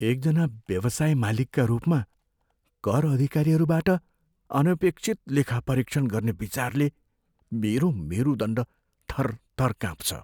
एक जना व्यवसाय मालिकका रूपमा, कर अधिकारीहरूबाट अनपेक्षित लेखापरीक्षण गर्ने विचारले मेरो मेरुदण्ड थरथर काँप्छ।